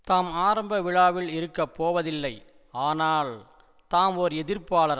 தாம் ஆரம்ப விழாவில் இருக்க போவதில்லை ஆனால் தாம் ஓர் எதிர்ப்பாளர்